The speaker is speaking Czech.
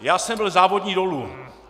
Já jsem byl závodní dolů.